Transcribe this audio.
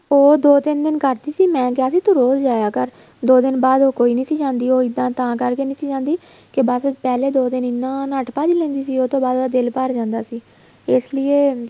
ਉਹ ਦੋ ਤਿੰਨ ਕਰਦੀ ਸੀ ਮੈਂ ਕਿਹਾ ਤੂੰ ਰੋਜ ਜਾਇਆ ਕਰ ਦੋ ਬਾਅਦ ਉਹ ਕੋਈ ਨਹੀਂ ਸੀ ਜਾਂਦੀ ਉਹ ਇੱਦਾਂ ਤਾਂ ਕਰਕੇ ਨਹੀਂ ਸੀ ਜਾਂਦੀ ਕੇ ਬੱਸ ਪਹਿਲੇ ਦੋ ਦਿਨ ਉਹ ਇੰਨਾ ਨੱਠ ਭੱਜ ਲੈਂਦੀ ਸੀ ਉਹ ਤੋਂ ਬਾਅਦ ਉਹਦਾ ਦਿਲ ਭਰ ਜਾਂਦਾ ਸੀ ਇਸ ਲਈਏ